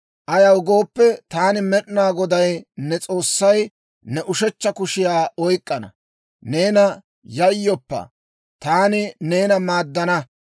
Ayaw gooppe, taani Med'inaa Goday, ne S'oossay, ne ushechcha kushiyaa oyk'k'ana. Neena, ‹Yayyoppa, taani neena maaddana.